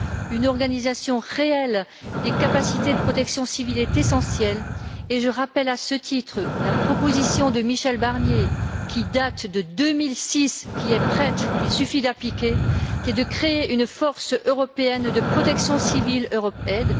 Une organisation réelle des capacités de protection civile est essentielle, et je rappelle à ce titre la proposition de Michel Barnier, qui date de 2006, qui est prête, qu'il suffit d'appliquer, et qui est de créer une force de protection civile européenne.